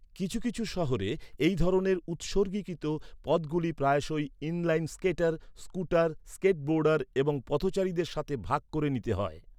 কিছু কিছু শহরে এই ধরনের উৎসর্গীকৃত পথগুলি প্রায়শই inline skater, scooter, skateboarder এবং পথচারীদের সাথে ভাগ করে নিতে হয়।